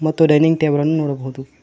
ಮತ್ತು dining table ಅನ್ನು ನೋಡಬಹುದು.